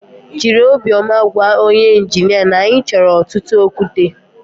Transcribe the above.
Jịrị obiọma gwa onye injinia na anyị chọrọ ọtụtụ okwute